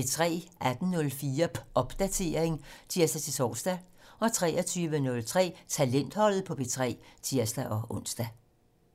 18:04: Popdatering (tir-tor) 23:03: Talentholdet på P3 (tir-ons)